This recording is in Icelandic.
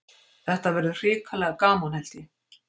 Þetta verður hrikalega gaman held ég.